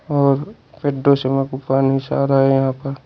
और कोई पानी सा आ रहा हैं यहां पर।